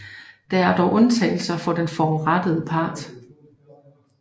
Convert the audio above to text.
Der er dog undtagelser for den forurettede part